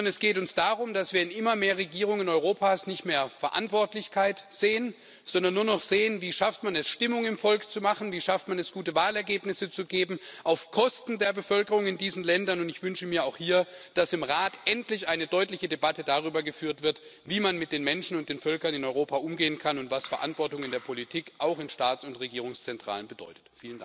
Sondern es geht uns darum, dass, wenn immer mehr Regierungen Europas nicht mehr Verantwortlichkeit sehen, sondern nur noch sehen Wie schafft man es, Stimmung im Volk zu machen, wie schafft man es, gute Wahlergebnisse zu erzielen auf Kosten der Bevölkerung in diesen Ländern, dann wünsche ich mir auch hier, dass im Rat endlich eine deutliche Debatte darüber geführt wird, wie man mit den Menschen und den Völkern in Europa umgehen kann und was Verantwortung in der Politik, auch in Staats und Regierungszentralen, bedeutet.